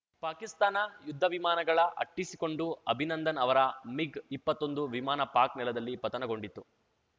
ಪಾಕಿಸ್ತಾನ ಯುದ್ಧ ವಿಮಾನಗಳ ಅಟ್ಟಿಸಿಕೊಂಡು ಅಭಿನಂದನ್‌ ಅವರ ಮಿಗ್‌ಇಪ್ಪತ್ತೊಂದು ವಿಮಾನ ಪಾಕ್‌ ನೆಲದಲ್ಲಿ ಪತನಗೊಂಡಿತ್ತು